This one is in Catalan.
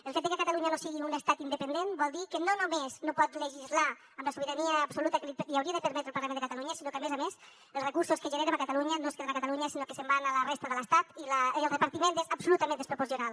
el fet de que catalunya no sigui un estat independent vol dir que no només no pot legislar amb la sobirania absoluta que li hauria de permetre el parlament de catalunya sinó que a més a més els recursos que generem a catalunya no es queden a catalunya sinó que se’n van a la resta de l’estat i el repartiment és absolutament desproporcionat